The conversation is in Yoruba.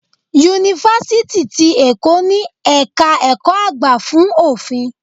Yunifásítì ti Èkó ni ẹ̀ka ẹ̀kọ́ àgbà fún Òfin.